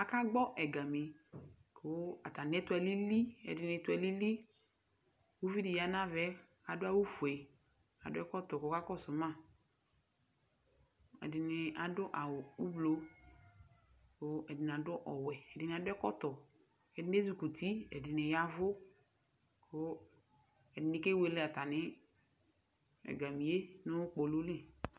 Akagbɔ ɛga nʋ uti, kʋ atami ɛtu alili, ɛdɩnɩ ɛtʋ alili Uvi dɩ ɔya nʋ ava yɛ kʋ adu awufue, adu ɛkɔtɔ kʋ ɔkakɔsʋ ma Ɛdɩnɩ adu awu ʋblʋ, kʋ ɛdɩnɩ adu ɔwɛ Ɛdɩnɩ adu ɛkɔtɔ Ɛdɩnɩ ezikɔ uti, ɛdɩnɩ yavʋ, kʋ ɛdɩnɩ kewele atami ɛgalili nʋ kpolu li